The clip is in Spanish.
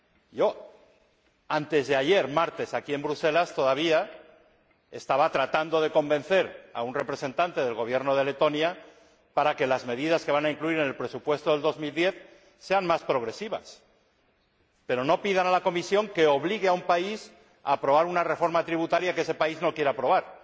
Yo, antes de ayer, aquí en Bruselas, todavía estaba tratando de convencer a un representante del Gobierno de Letonia para que las medidas que van a incluir en el presupuesto del año 2010 sean más progresivas. Pero no pidan a la Comisión que obligue a un país a aprobar una reforma tributaria que ese país no quiere aprobar